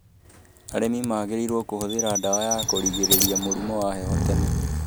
Arĩmi magĩrĩirũo kũhũthira ndawa ya kũgirĩrĩria mũrimu wa heho tene.